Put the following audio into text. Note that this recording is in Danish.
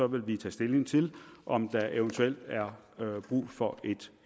vil vi tage stilling til om der eventuelt er brug for et